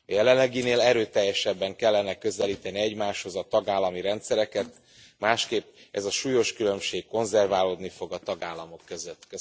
A jelenleginél erőteljesebben kellene közelíteni egymáshoz a tagállami rendszereket, másképp ez a súlyos különbség konzerválódni fog a tagállamok között.